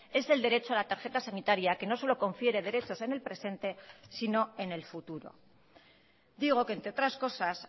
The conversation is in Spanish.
es el derecho a la tarjeta sanitaria que no solo confiere derechos en el presente sino en el futuro digo que entre otras cosas